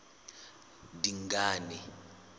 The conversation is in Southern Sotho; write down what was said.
dingane